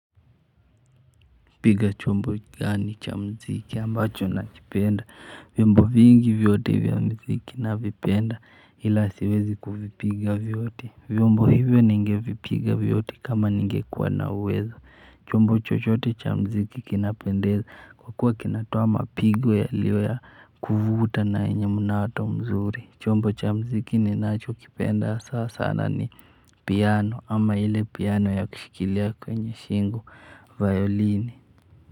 Piga chombo gani cha muziki ambacho nakipenda vyombo vingi vyote ya muziki navipenda ila siwezi kuvipiga vyote vyombo hivi ningevipiga vyote kama ningekuwa na uwezo. Chombo chochote cha muziki kinapendeza kwa kuwa kinatoa mapigo yaliyo ya kuvuta na yenye mnato mzuri. Chombo cha muziki ninachokipenda sasa na ni piano ama ile piano ya kushikilia kwenye shingo violin.